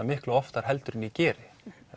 miklu oftar heldur en ég geri